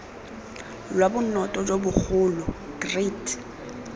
lwa bonota jo bogolo great